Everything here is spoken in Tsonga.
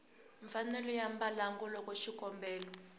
mfanelo ya mbalango loko xikombelo